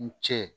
N cɛ